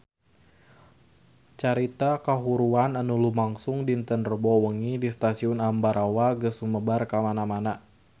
Carita kahuruan anu lumangsung dinten Rebo wengi di Stasiun Ambarawa geus sumebar kamana-mana